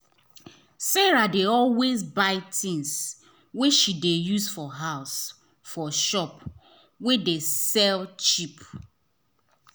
sarah dey always buy things wey she dey use for house for shop wey dey sell am cheap.